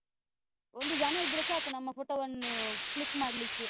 ಒಂದು ಜನ ಇದ್ರೆ ಸಾಕು, ನಮ್ಮ photo ವನ್ನು click ಮಾಡ್ಲಿಕ್ಕೆ.